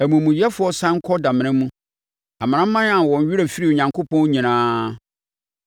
Amumuyɛfoɔ sane kɔ damena mu, amanaman a wɔn werɛ firi Onyankopɔn nyinaa.